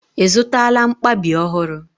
I zụtala mkpabi ọhụrụ?